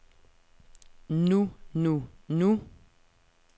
nu nu nu